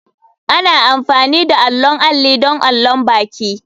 Ana amfani da allon alli don allon baki.